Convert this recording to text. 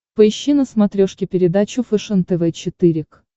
поищи на смотрешке передачу фэшен тв четыре к